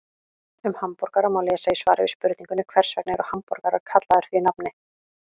Um hamborgara má lesa í svari við spurningunni Hvers vegna eru hamborgarar kallaðir því nafni?